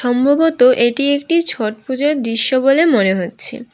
সম্ভবত এটি একটি ছট পূজার দৃশ্য বলে মনে হচ্ছে।